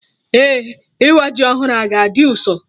Eh, ịwa ji ọhụrụ a ga-dị ụsọ